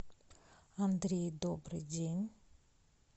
андрей добрый день